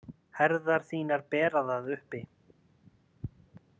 Herðar þínar bera það uppi.